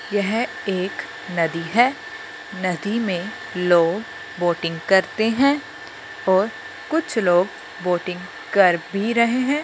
यह एक नदी है। नदी में लोग बोटिंग करते हैं और कुछ लोग बोटिंग कर भी रहे हैं।